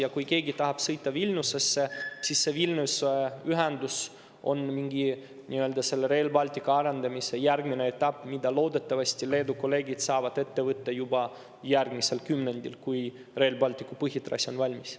Aga kui keegi tahab sõita Vilniusesse, siis see Vilniuse ühendus on Rail Balticu arendamise mingi järgmine etapp, mida loodetavasti Leedu kolleegid saavad ette võtta juba järgmisel kümnendil, kui Rail Balticu põhitrass on valmis.